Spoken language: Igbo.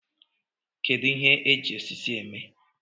Kedu ihe eji osisi eme